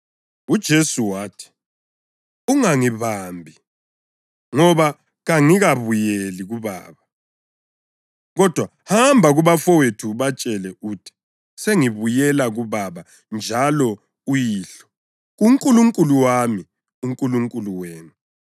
UJesu wathi, “Ungangibambi, ngoba kangikabuyeli kuBaba. Kodwa hamba kubafowethu ubatshele uthi, ‘Sengibuyela kuBaba njalo uYihlo, kuNkulunkulu wami, uNkulunkulu wenu.’ ”